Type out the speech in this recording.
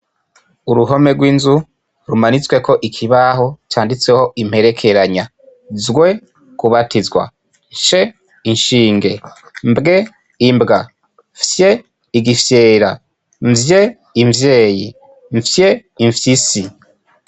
Uruhome rwinzu rumanitsweko ikibaho canditseho imperekeranya zw:kubatizwa nsh: inshinge mbw: imbwa fy: igifyera mvy: imvyeyi mfy: imfyisi